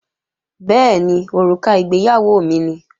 Bẹ́ẹ̀ni, òrùka ìgbéyàwó mi ni